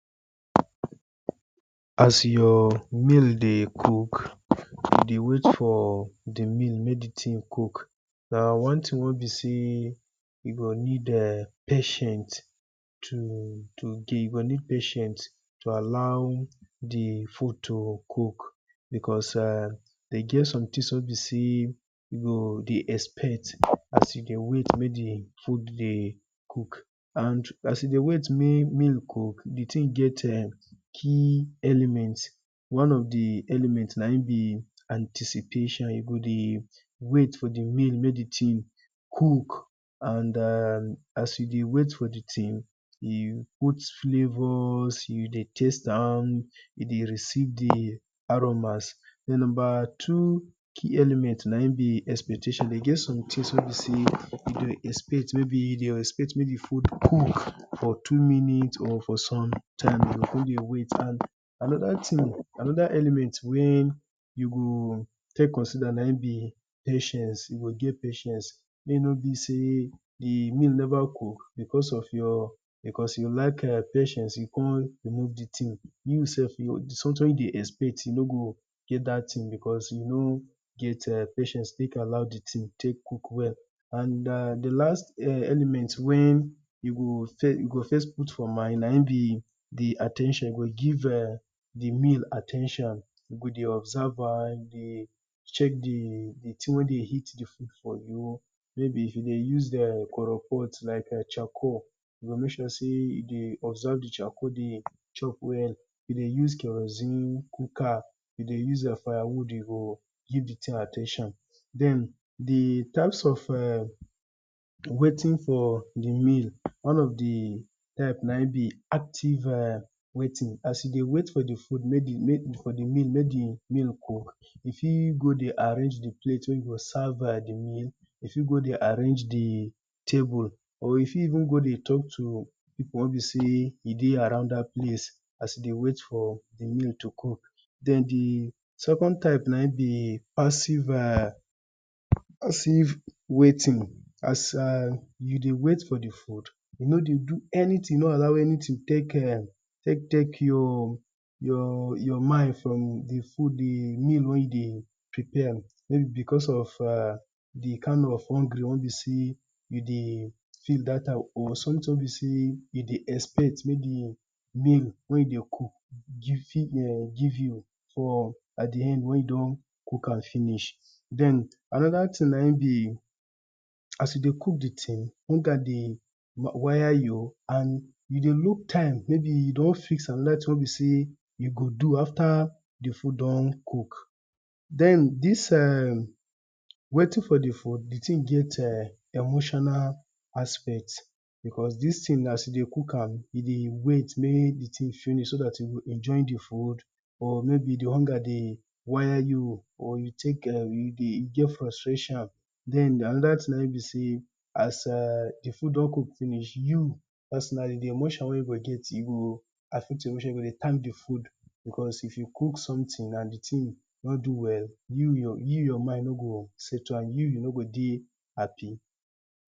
As your meal dey cook, you dey wait for di meal make di thing dey cook na one thing wey be sey you go need patient to do you go need patient to allow di food to cook, because dem get some things wey be sey you go dey expect as you dey wait make di food dey cook and as you dey wait make make e cook di thing get key element. One of di element na im be anticipation you go dey wait for di meal make e cook and as you dey wait for di thing, you put flavors you dey taste am, you dey receive di aromas. Den number two key element na im be expectation e get some things wey be sey you dey expect, may be you dey expect make di food cook for two minutes for for some time you go come dey you go dey wait and another thing another element wey you go first consider na im be patience, you go get patience make e no be sey di meal never cook because of your, because you lack patience you come remove di thing, you sef something wey you dey expect you nor get dat thing because you nor get patience take allow dat thing take cook well and den di last element wen you go first put for mind na im be at ten tion you go give di meal at ten tion, you go dey observe a dey check di thing wey dey heat di food for you, maybe if you dey use coal pot like charcoal you go make sure sey you dey observe di charcoal dey chop well, you dey use kerosene cooker, you dey use fire wood you dey give di thing at ten tion. Den di types of waiting for for di meal one of di type na im be active waiting as you dey wait for di meal, make di meal cook you fit go dey arrange di plate wey you go serve di meal, you fit go dey arrange di table, or you fit even go dey talk to di people wey dey around dat place, as you dey wait make di meal cook. Den di second type na im be passive na im be passive waiting as you dey wait for di food, you no dey do anything, no allow anything take take your your your mind from di food di meal wey you dey prepare maybe because of di kind of hungry wey be sey you dey feel dat time or, or something wey be sey you dey expect maybe meal wey you dey cook, give you give you, at di end wen you don cook am finish, den another thing na im be as you dey cook di thing hunger dey wire you, and maybe you dey look time maybe you don fix another thing wey you go do after di food don cook, den dis [urn] waiting for di food, di thing get emotional aspect because dis thing as you dey cook am, e dey wait make di thing finish so dat you go enjoy di food, or maybe di hunger dey wire you or you take [urn] you dey get frustration, den another thing na im be sey as di food don cook finish, you as di emotion wen you go get you e go affect di food, you go dey time di food because if you cook something and di thing nor d o well, you your mind no go settle and you no go dey happy.